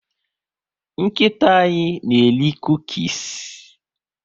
Nkịta anyị na eri cukies